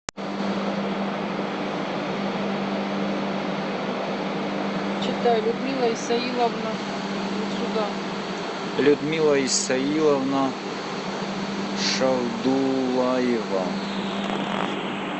людмила исаиловна шалдулаева